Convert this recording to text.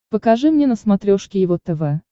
покажи мне на смотрешке его тв